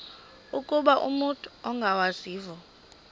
ukuba umut ongawazivo